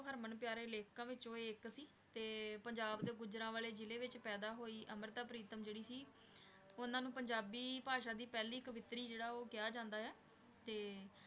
ਹਰਮਨ ਪਿਆਰੇ ਲੇਖਕਾਂ ਵਿੱਚੋਂ ਇੱਕ ਸੀ ਤੇ ਪੰਜਾਬ ਦੇ ਗੁਜ਼ਰਾਂਵਾਲੇ ਜ਼ਿਲ੍ਹੇ ਵਿੱਚ ਪੈਦਾ ਹੋਈ, ਅੰਮ੍ਰਿਤਾ ਪ੍ਰੀਤਮ ਜਿਹੜੀ ਸੀ ਉਹਨਾਂ ਨੂੰ ਪੰਜਾਬੀ ਭਾਸ਼ਾ ਦੀ ਪਹਿਲੀ ਕਵਿਤਰੀ ਜਿਹੜਾ ਉਹ ਕਿਹਾ ਜਾਂਦਾ ਹੈ, ਤੇ